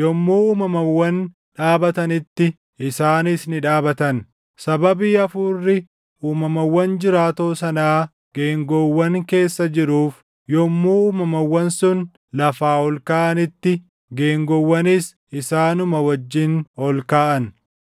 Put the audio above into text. yommuu uumamawwan dhaabatanitti isaanis ni dhaabatan; sababii hafuurri uumamawwan jiraatoo sanaa geengoowwan keessa jiruuf yommuu uumamawwan sun lafaa ol kaʼanitti geengoowwanis isaanuma wajjin ol kaʼan.